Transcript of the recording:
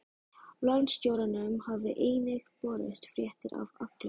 Landstjóranum hafa einnig borist fréttir af Agli